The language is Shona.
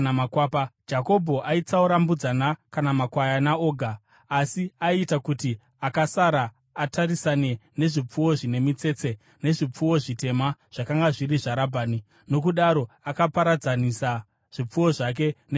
Jakobho aitsaura mbudzana kana makwayana oga, asi aiita kuti akasara atarisane nezvipfuwo zvine mitsetse nezvipfuwo zvitema zvakanga zviri zvaRabhani. Nokudaro akaparadzanisa zvipfuwo zvake nezvaRabhani.